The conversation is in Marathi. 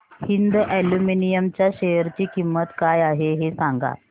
हिंद अॅल्युमिनियम च्या शेअर ची किंमत काय आहे हे सांगा